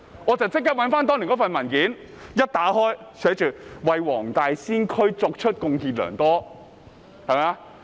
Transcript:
我立即翻查當年的文件，一打開文件，見到寫着他為黃大仙區貢獻良多。